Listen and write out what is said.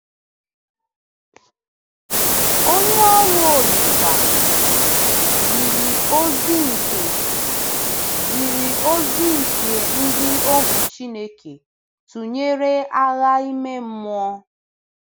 Onye ọrụ Olise jiri ozi nke jiri ozi nke ndị ohu Chineke tụnyere agha ime mmụọ.